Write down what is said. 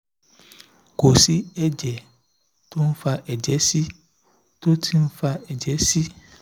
kò sí ẹ̀jẹ̀ tó ń fa ẹ̀jẹ̀ sí i tó ti ń fa ẹ̀jẹ̀ sí i